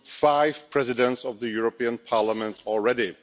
five Presidents of the European Parliament already.